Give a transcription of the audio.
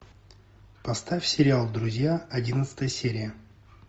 поставь сериал друзья одиннадцатая серия